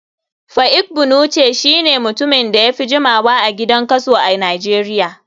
Pa egbunuce shine mutumin da yafi jimawa a gidan kaso a nijeria.